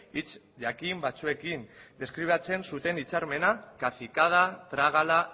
hitz jakin batzuekin deskribatzen zuten hitzarmena cacicada trágala